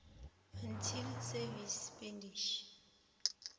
actual savings expenditure